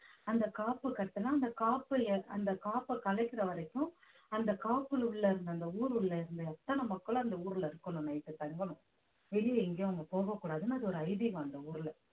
அந்த காப்பு கட்டுன்னா அந்த காப்பு யே~ அந்த காப்பு கலைக்கிற வரைக்கும் அந்த காப்புல உள்ள இருந்த அந்த ஊரு உள்ள இருந்த அத்தனை மக்களும் அந்த ஊர்ல இருக்கணும் night தங்கணும் வெளிய எங்கயும் அங்க போகக் கூடாதுன்னு அது ஒரு ஐதீகம் அந்த ஊர்ல